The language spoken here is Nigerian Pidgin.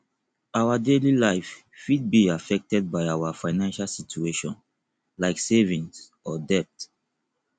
our daily life fit be affected by our financial situation like saving or debt